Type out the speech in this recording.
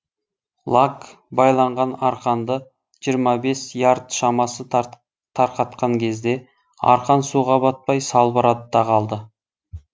лаг байланған арқанды жиырма бес ярд шамасы тарқатқан кезде арқан суға батпай салбырады да қалды